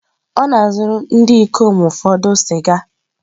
Ọ na-azụrụ ndị ikom ụfọdụ sịga.